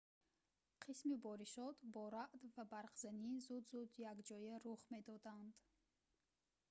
қисми боришот бо раъд ​​ва барқзани ​​зуд-зуд якҷоя рух медоданд